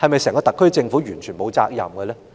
整個特區政府是否完全沒有責任呢？